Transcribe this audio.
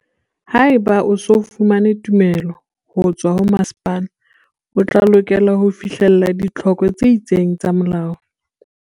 Haeba o se o fumane tumello ho tswa ho masepala, o tla lokela ho fihlella ditlhoko tse itseng tsa molao.